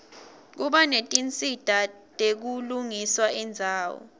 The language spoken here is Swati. kuba netinsita tekulungisa indzawo